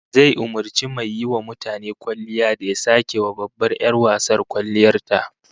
Zai umurci mai yiwa mutane kwalliya da ya sake wa babbar 'yar wasar kwalliyar ta